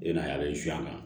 E n'a kan